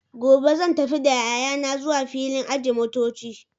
gobe zan tafi da yayana zuwa filin ajiye motoci.